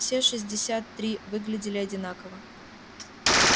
все шестьдесят три выглядели одинаково